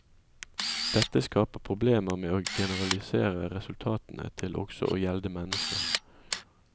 Dette skaper problemer med å generalisere resultatene til også å gjelde mennesker.